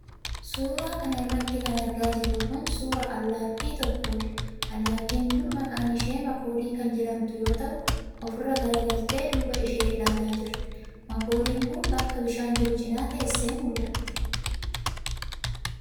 Suura kana irratti kan argaa jirru kun, suura allaattii tokkoodha. Allaattiin kun maqaan ishaa makoodii kan jedhamtu yoo ta'u, of irra garagaltee duuba ishee ilaalaa jirti. Makoodiin kun bakka bishaan jiru cinaa teessee mul'ati.